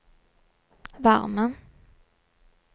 varme